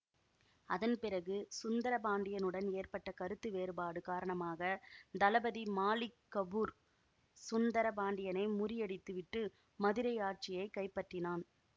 அதன் பிறகு சுந்தர பாண்டியனுடன் ஏற்பட்ட கருத்து வேறுபாடு காரணமாக தளபதி மாலிக் கபூர் சுந்தர பாண்டியனை முறியடித்து விட்டு மதுரை ஆட்சியை கைப்பற்றினான்